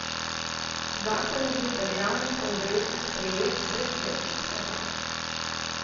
Zakon je bil v državnem kongresu sprejet brez večjih težav.